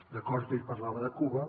d’acord que ell parlava de cuba